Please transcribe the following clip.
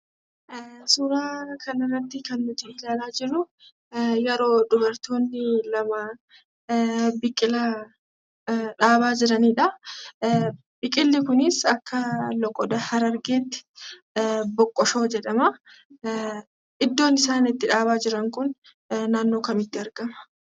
Suuraa kanarratti kan nuti argaa jirru yeroo dubartoonni lama biqila dhabaa jiranidha. Biqilli kunis akka loqooda harargeetti boqqoshoo jedhama.